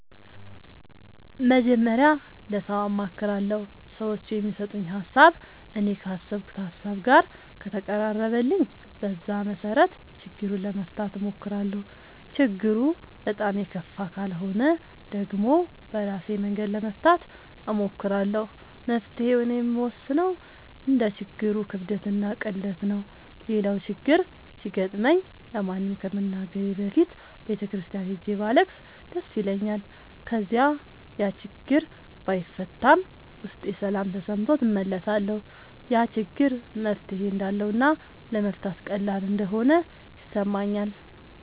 መጀመሪያ ለሠው አማክራለሁ። ሠዎቹ የሚሠጡኝ ሀሣብ እኔ ካሠብኩት ሀሳብ ጋር ከተቀራረበልኝ በዛ መሠረት ችግሩን ለመፍታት እሞክራለሁ። ችግሩ በጣም የከፋ ካልሆነ ደግሞ በራሴ መንገድ ለመፍታት እሞክራለሁ። መፍትሔውን የምወስነው እንደ ችግሩ ክብደትና ቅለት ነው። ሌላው ችግር ሲገጥመኝ ለማንም ከመናገሬ በፊት ቤተ ክርስቲያን ሄጄ ባለቅስ ደስ ይለኛል። ከዚያ ያችግር ባይፈታም ውስጤ ሠላም ተሠምቶት እመለሳለሁ። ያ ችግር መፍትሔ እንዳለውና ለመፍታት ቀላል እንደሆነ ይሠማኛል።